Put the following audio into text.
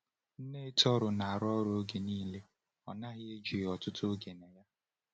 Nne Tohru na-arụ ọrụ oge niile, ọ naghị eji ọtụtụ oge na ya.